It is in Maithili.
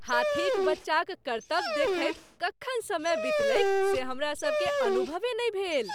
हाथीक बच्चाक करतब देखैत कखन समय बितलैक से हमरासभकेँ अनुभवे नहि भेल।